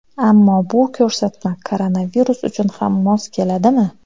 Ammo bu ko‘rsatma koronavirus uchun ham mos keladimi?